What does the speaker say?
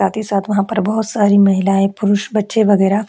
साथ ही साथ वहाँ पर बहोत सारी महिलायें पुरुष बच्चे वगैरा --